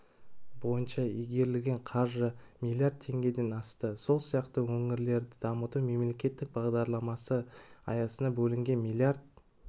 бойынша игерілген қаржы млрд теңгеден асты сол сияқты өңірлерді дамыту мемлекеттік бағдарламасы аясында бөлінген млрд